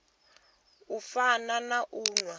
u fana na u nwa